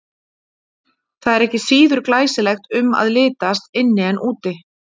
Það er ekki síður glæsilegt um að litast inni en úti.